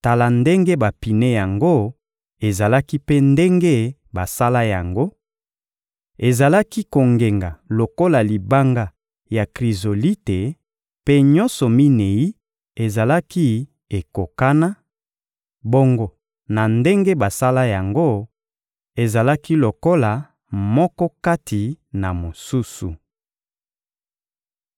Tala ndenge bapine yango ezalaki mpe ndenge basala yango: ezalaki kongenga lokola libanga ya Krizolite mpe nyonso minei ezalaki ekokana; bongo na ndenge basala yango, ezalaki lokola moko kati na mosusu.